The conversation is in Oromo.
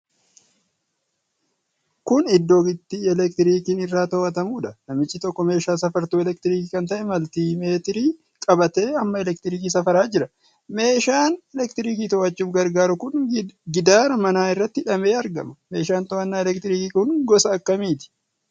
Kun iddoo itti elektirikiin irraa to'atamuudha. Namichi tokko meeshaa safartuu elektirikii kan ta'e maltimeetirii qabatee hamma elektirikii safaraa jira. Meeshaan elektirikii to'achuuf gargaaru kun gidaara manaa irratti hidhamee argama. Meeshaan to'annaa elektiriikii kun gosa akkamiiti?